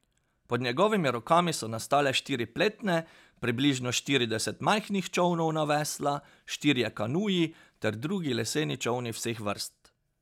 Pod njegovimi rokami so nastale štiri pletne, približno štirideset majhnih čolnov na vesla, štirje kanuji ter drugi leseni čolni vseh vrst.